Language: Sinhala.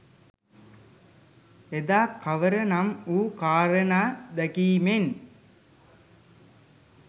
එදා කවර නම් වූ කාරණා දැකීමෙන්